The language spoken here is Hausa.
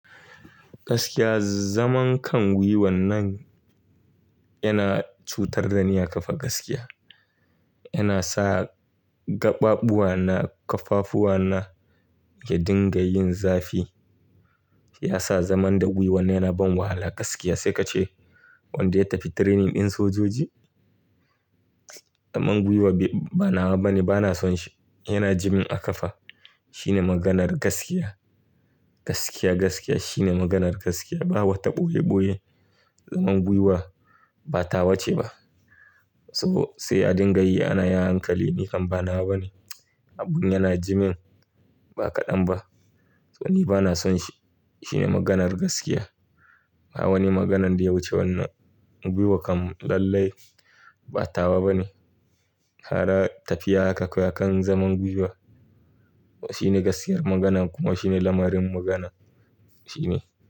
Gaskiya zaman kan gwiwan nan yana cutar dani a kafa gaskiya. Yana sa gaɓaɓuwa na ƙaffafuwa na ya dinga yin zafi. Ya sa zaman da gwiwan yana ban wahala gaskiya sai ka ce wanda ya tafi training ɗin sojoji. Zaman gwiwa ba nawa bane bana son shi. Yana jimin a kafa. Shine maganar gaskiya. Gaskiya, gaskiya shine maganar gaskiya. Ba wata ɓoye ɓoye. Zaman gwiwa ba tawa ce ba. So sai a dinga yi ana yi hankali nikan ba nawa bane. Abun yana jimin ba kaɗan ba. To ni bana son shi. Shine maganar gaskiya. Ba wani maganan da ya wuce wannan. Gwiwo kan lallai ba tawa bane. Kada ka fiya haka koya kan zaman gwiwa. Shine gaskiyar magana kuma shine lamarin magana. Shine.